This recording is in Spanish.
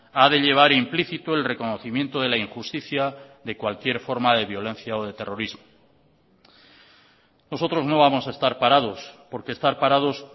ha de llevar implícito el reconocimiento de la injusticia de cualquier forma de violencia o de terrorismo nosotros no vamos a estar parados porque estar parados